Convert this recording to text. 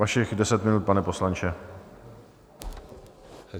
Vašich deset minut, pane poslanče.